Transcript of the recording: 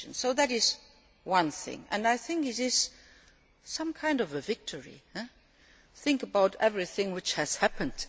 That is one thing that I think is some kind of a victory. Think about everything which has happened.